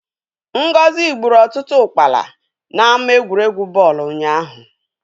Ngozi gburu ọtụtụ ụkpala n'ámá egwuregwu bọọlụ ụnyaahụ.